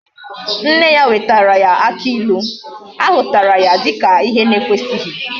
Nne ya wetara aki ilu, ahutara ya dika ihe na ekwesighi